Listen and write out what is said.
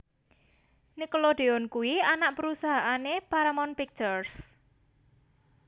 Nickelodeon kuwi anak perusahaan e Paramount Pictures